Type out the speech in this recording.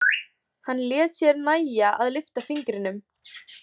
Hann lét sér nægja að lyfta fingrinum.